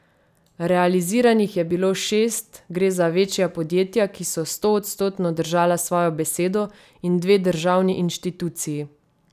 Realiziranih je bilo šest, gre za večja podjetja, ki so stoodstotno držala svojo besedo, in dve državni inštituciji.